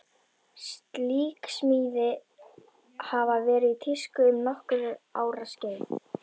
Slík smíði hafi verið í tísku um nokkurra ára skeið.